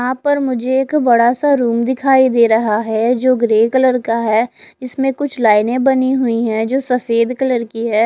यहां पर मुझे एक बड़ा सा रूम दिखाई दे रहा है जो ग्रे कलर का है इसमें कुछ लाइनें बनी हुई हैं जो सफेद कलर की है।